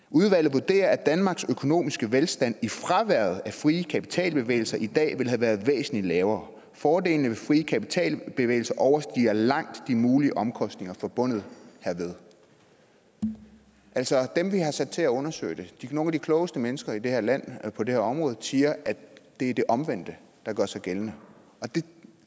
vurderer at danmarks økonomiske velstand i fraværet af frie kapitalbevægelser i dag ville have været væsentlig lavere fordelene ved frie kapitalbevægelser overstiger langt de mulige omkostninger forbundet hermed altså dem vi har sat til at undersøge det nogle af de klogeste mennesker i det her land på det her område siger at det er det omvendte der gør sig gældende